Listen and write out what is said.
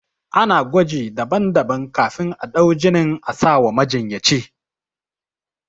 Ana gwaji daban daban kafin a ɗau jinin asawa majinyaci